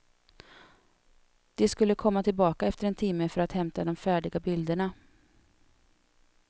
De skulle komma tillbaka efter en timme för att hämta de färdiga bilderna.